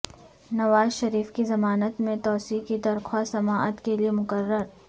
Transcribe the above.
نواز شریف کی ضمانت میں توسیع کی درخواست سماعت کیلئے مقرر